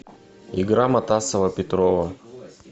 игра матасова петрова